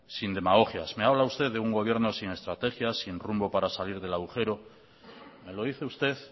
sin demagogias me habla usted de un gobierno sin estrategia y sin rumbo para salir del agujero me lo dice usted